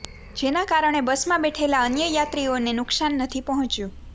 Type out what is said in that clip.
જેના કારણે બસમાં બેઠેલા અન્ય યાત્રીઓને નુકસાન નથી પહોંચ્યુ